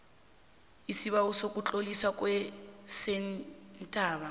isibawo sokutloliswa kwesentha